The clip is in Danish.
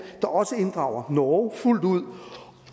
der også inddrager norge fuldt ud